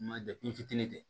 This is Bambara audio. Ma n fitinin kɛ